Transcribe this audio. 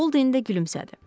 Boldin də gülümsədi.